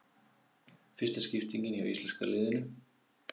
Fyrsta skiptingin hjá íslenska liðinu